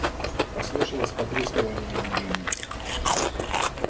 послышалось потрескивание и гудение